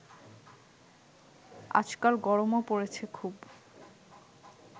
আজকাল গরমও পড়েছে খুব